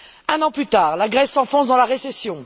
Un an plus tard, la Grèce s'enfonce dans la récession.